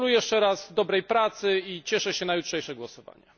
Gratuluję jeszcze raz dobrej pracy i cieszę się na jutrzejsze głosowanie.